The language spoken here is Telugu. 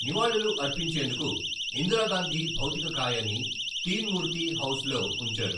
నివాళులు అర్పించేందుకు, ఇందిరాగాంధీ భౌతికకాయాన్ని తీన్ మూర్తి హౌస్‌లో‌ ఉంచారు.